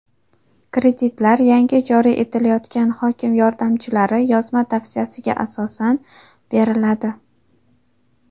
Kreditlar yangi joriy etilayotgan hokim yordamchilari yozma tavsiyasiga asosan beriladi.